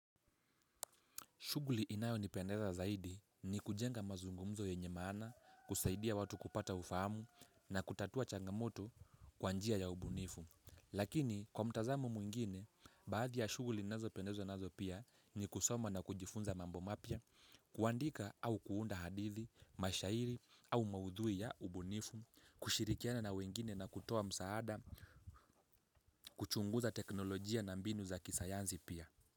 Shughuli inayo nipendeza zaidi ni kujenga mazungumzo yenye maana, kusaidia watu kupata ufahamu na kutatua changamoto kwa njia ya ubunifu. Lakini kwa mtazamo mwingine, baadhi ya shughuli ninazo pendezwa nazo pia ni kusoma na kujifunza mambo mapya, kuandika au kuunda hadithi, mashairi au maudhui ya ubunifu, kushirikiana na wengine na kutoa msaada, kuchunguza teknolojia na mbinu za kisayanzi pia.